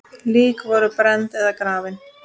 Lík voru brennd eða grafin.